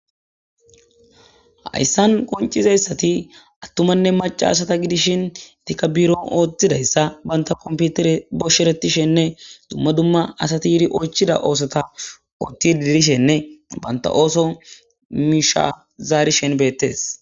Hayssan qoncizayssati attumanne maca asata gidishin tikabiron ooththidayssa banta komputire boshsheretishenne dumma dumma asati yiiri oychida oosota ooththi diirishenne banta ooso mishazaari shen beettes.